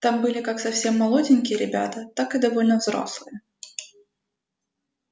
там были как совсем молоденькие ребята так и довольно взрослые